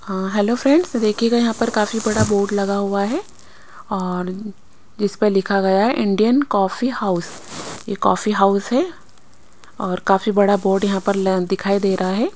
हाँ hello friends देखियेगा यहा पर काफी बड़ा बोर्ड लगा हुआ है और जिस पे लिखा गया है इंडियन कॉफ़ी हाउस ये कॉफ़ी हाउस है और काफी बड़ा बोर्ड लग यहाँ पर ल दिखाई दे रहा है।